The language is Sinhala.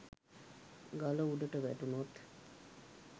ගල උඩට වැටුනොත්